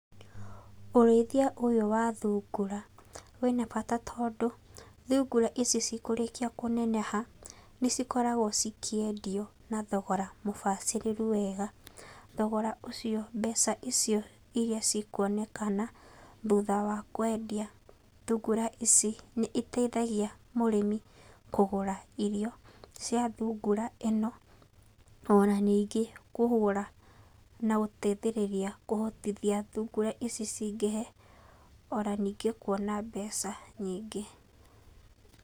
Ũrĩithia ũyũ wa thungura wĩna bata tondũ, thungura ici cikũrĩkia kũneneha, nĩcikoragwo cikĩendio, na thogora mũbacĩrĩru wega, thogora ũcio, mbeca icio irĩa cikuonekana, thutha wa kwendia, thungura ici, nĩiteithagia mũrĩmi kũgũra irio cia thungura ĩno, ona ningĩ kũgũra na gũteithĩrĩria kũhotithia thungura ici cingĩhe, ona ningĩ kuona mbeca nyingĩ.